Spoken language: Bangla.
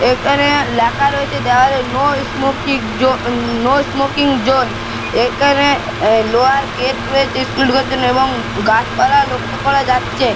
এখানে লেখা রয়েছে দেওয়ালে নো স্মোকিং জো-- নো স্মোকিং জোন । এখানে লোহার গেট রয়েছে স্কুল এ ঢোকার জন্য এবং গাছপালা লক্ষ্য করা যাচ্চে।